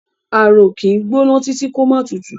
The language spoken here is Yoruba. Ààrò kì í gbóná títí kó má tutù.